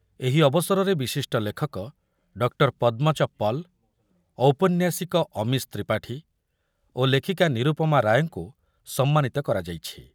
ଏହି ଅବସରରେ ବିଶିଷ୍ଟ ଲେଖକ ଡକ୍ଟର୍ ପଦ୍ମଜ ପାଳ, ଔପନ୍ୟାସିକ ଅମୀଶ୍ ତ୍ରିପାଠୀ ଓ ଲେଖିକା ନିରୂପମା ରାୟଙ୍କୁ ସମ୍ମାନିତ କରାଯାଇଛି।